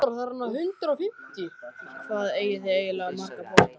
Úff, hvað eigið þið eiginlega marga potta?